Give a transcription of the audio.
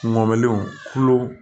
Ŋɔmɔliw tulo